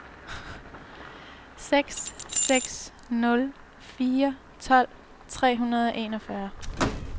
seks seks nul fire tolv tre hundrede og enogfyrre